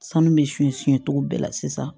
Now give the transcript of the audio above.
Sanu bɛ suɲɛ cogo bɛɛ la sisan